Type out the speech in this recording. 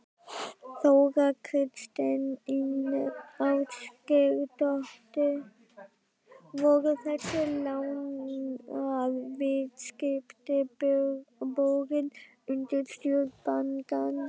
Þóra Kristín Ásgeirsdóttir: Voru þessi lánaviðskipti borin undir stjórn bankans?